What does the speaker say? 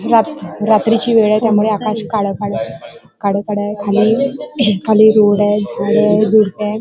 रात्र रात्रीची वेळय त्यामुळ आकाश काळ काळ काळ काळय खाली खाली रोडय झाडय झुडपय.